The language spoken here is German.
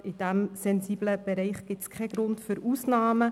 Gerade in diesem sensiblen Bereich gibt es keinen Grund für Ausnahmen.